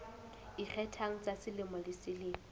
ikgethang tsa selemo le selemo